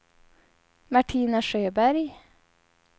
Martina Sjöberg